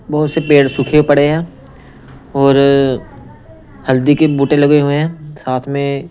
बहुत से पेड़ सूखे पड़े हैं और हल्दी के बूटे लगे हुए हैं साथ में।